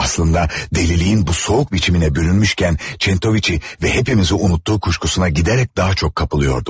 Əslində, dəliliyinin bu soyuq biçiminə bürünmüşkən Çentoviçi və hamımızı unutduğu şübhəsinə gedərək daha çox qapılırdım.